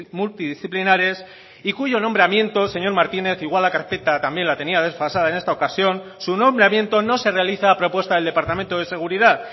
multidisciplinares y cuyo nombramiento señor martínez igual la carpeta también la tenía desfasada en esta ocasión su nombramiento no se realiza a propuesta del departamento de seguridad